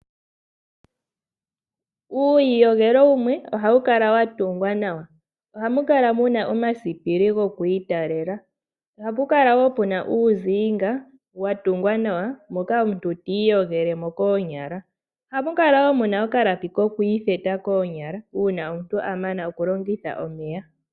Uuyiyogelo wumwe ohawu kala wa tungwa nawa. Ohamu kala mu na omasipili gokwiitalela. Ohapu kala wo pu na uutemba wa tungwa nawa moka omuntu tiiyogele mo koonyala. Ohamu kala mu na okalapi ko kwiitheta koonyala uuna omuntu a mana okulongitha omeya.